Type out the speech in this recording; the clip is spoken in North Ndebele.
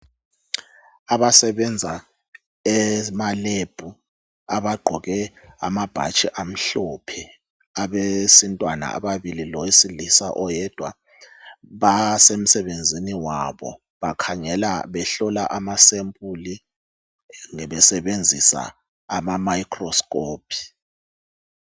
abasebenza emalebhu abagqoke amabhatshi amhlophe abesintwana ababili lowesilisa oyedwa basemsebenzini wabo bakhangela behlola amasempuli besebenzisa ama microsikopi.